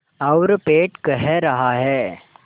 और पेट कह रहा है